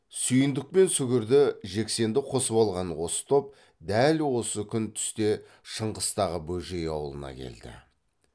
сүйіндік пен сүгірді жексенді қосып алған осы топ дәл осы күн түсте шыңғыстағы бөжей ауылына келді